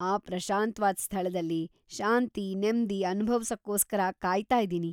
ಆ ಪ್ರಶಾಂತ್ವಾದ್ ಸ್ಥಳದಲ್ಲಿ ಶಾಂತಿ-ನೆಮ್ದಿ ಅನುಭವ್ಸೋಕ್ಕೋಸ್ಕರ ಕಾಯ್ತಾ ಇದೀನಿ.